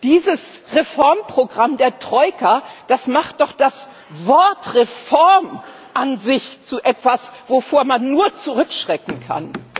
Dieses Reformprogramm der Troika macht doch das Wort Reform an sich zu etwas, wovor man nur zurückschrecken kann.